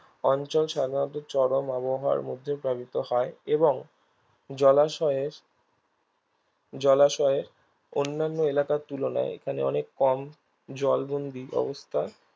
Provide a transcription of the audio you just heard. অঞ্চল সাধারণত চরম আবহাওয়ার মধ্যে প্লাবিত হয় এবং জলাশয়ের জলাশয়ের অন্যান্য এলাকার তুলনায় এখানে অনেক কম জলবন্দি অবস্থা